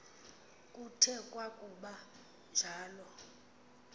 kuthe kwakuba njalo